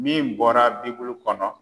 Min bɔra bibulu kɔnɔ.